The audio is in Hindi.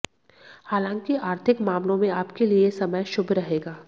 हालांकि आर्थिक मामलों में आपके लिए समय शुभ रहेगा